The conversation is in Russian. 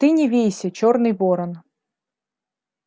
ты не вейся чёрный ворон